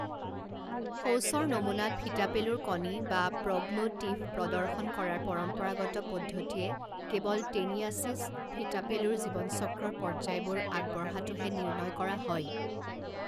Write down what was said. শৌচৰ নমুনাত ফিতাপেলুৰ কণী বা প্ৰগ্ল'টিড প্ৰদৰ্শন কৰাৰ পৰম্পৰাগত পদ্ধতিয়ে কেৱল টেনিয়াচিছ, ফিতাপেলুৰ জীৱনচক্ৰৰ পৰ্যায়বোৰ আগবঢ়াটোহে নিৰ্ণয় কৰা হয়।